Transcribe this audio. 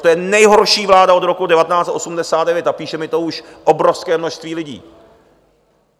To je nejhorší vláda od roku 1989 a píše mi to už obrovské množství lidí.